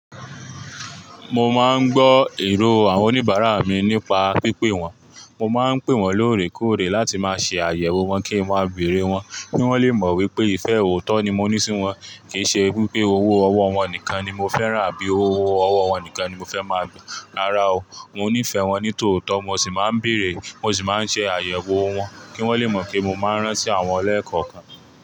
Mo máa ń gbọ́ èrò àwọn oníbàárà mi nípa pípé wọn. Mo máa ń pè wọ́n lóòrèkóòrè láti máa ṣe àyẹ̀wò wọn kí n má bèèrè wọ́n, kí wọ́n lè mọ̀ wípé ìfẹ́ òótọ́ ni mo ní sí wọn, kìí ṣe pé owó ọwọ́ wọn nìkan ni mo fẹ́ ràn àbí owó ọwọ́ wọn nìkan ni mo fẹ́ máa gba rárá o. Mo ní ìfẹ́ wọn ní tòótọ́, mo sì máa ń bèèrè, mo sì máa ń ṣe àyẹ̀wò wọn kí wọ́n lè mọ̀ pé mo máa ń rántí àwọn ọlẹ́ẹ̀kan kan.